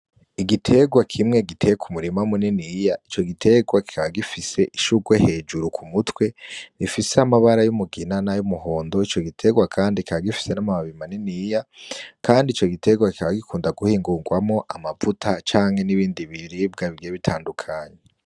Igiterwa kimwe giteye kumurima muniniya ,ico giterwa kikaba gifise ishurwe hejuru k'umutwe, gifise amabara y'umugina ,nay'umuhondo ,icogiterwa Kandi kikaba gifise amababi maniniya, kandi ico giterwa kikaba gikunda guhingurwamwo amavuta canke n'ibindi biribwa bigiye bitandukanye.